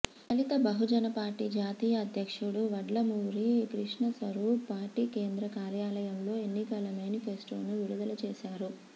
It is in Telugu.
దళిత బహుజన పార్టీ జాతీయ అధ్యక్షుడు వడ్లమూరి కృష్ణస్వరూప్ పార్టీ కేంద్ర కార్యాలయంలో ఎన్నికల మేనిఫెస్టోను విడుదల చేశారు